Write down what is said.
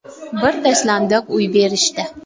Bir tashlandiq uy berishdi.